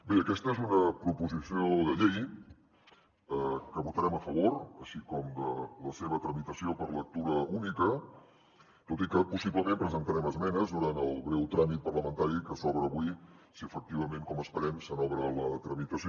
bé aquesta és una proposició de llei que votarem a favor així com de la seva tramitació per lectura única tot i que possiblement presentarem esmenes durant el breu tràmit parlamentari que s’obre avui si efectivament com esperem se n’obre la tramitació